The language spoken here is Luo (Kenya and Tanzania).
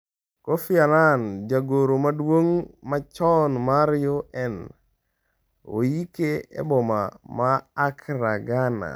Kofi Annan: Jagoro maduong' machon mar UN oyike e boma ma Accra, Ghana